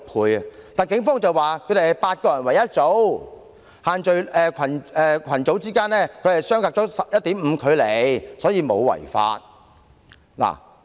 可是，警方表示他們是8人一組，群組之間相隔了 1.5 米距離，因此沒有違法。